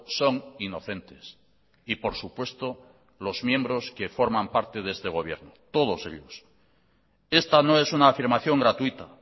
son inocentes y por supuesto los miembros que forman parte de este gobierno todos ellos esta no es una afirmación gratuita